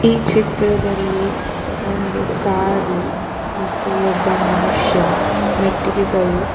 ಈ ಚಿತ್ರದಲ್ಲಿ ಒಂದು ಕಾರು ಮತ್ತು ಒಬ್ಬ ಮನುಷ್ಯ ಮೆಟ್ಟಿಲಿಗಳು --